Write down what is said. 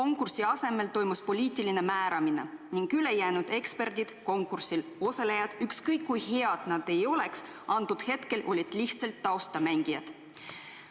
Selle asemel toimus poliitiline määramine ning ülejäänud eksperdid, konkursil osalejad, ükskõik kui head nad ka polnud, olid lihtsalt taustamängijad.